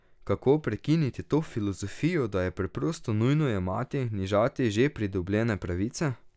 Kako prekiniti to filozofijo, da je preprosto nujno jemati, nižati že pridobljene pravice?